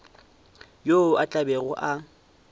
yo a tla bego a